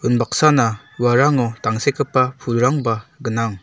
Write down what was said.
unbaksana uarango tangsekgipa pulrangba gnang.